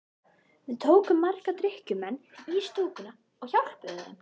Við tókum marga drykkjumenn í stúkuna og hjálpuðum þeim.